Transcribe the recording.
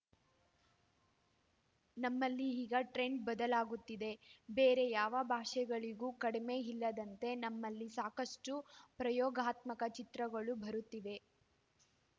ನಮ್ಮಲ್ಲಿ ಈಗ ಟ್ರೆಂಡ್‌ ಬದಲಾಗುತ್ತಿದೆ ಬೇರೆ ಯಾವ ಭಾಷೆಗಳಿಗೂ ಕಡಿಮೆ ಇಲ್ಲದಂತೆ ನಮ್ಮಲ್ಲಿ ಸಾಕಷ್ಟುಪ್ರಯೋಗಾತ್ಮಕ ಚಿತ್ರಗಳು ಬರುತ್ತಿವೆ